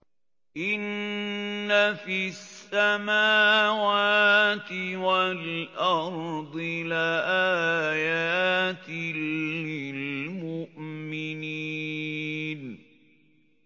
إِنَّ فِي السَّمَاوَاتِ وَالْأَرْضِ لَآيَاتٍ لِّلْمُؤْمِنِينَ